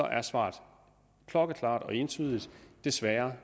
er svaret klokkeklart og entydigt desværre